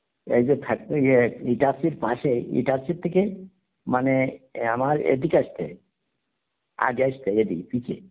এই যে factory ইটাচির পাসে ইটাচি থেকে মানে আমার এদিকে আসতে আগে আসতে এ এদিকে